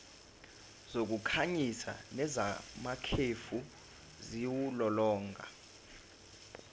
zokukhanyisa nezamakhefu ziwulolonga